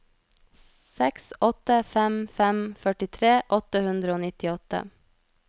seks åtte fem fem førtitre åtte hundre og nittiåtte